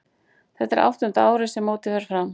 Þetta er áttunda árið sem mótið fer fram.